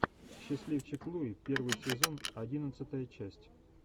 счастливчик луи первый сезон одиннадцатая часть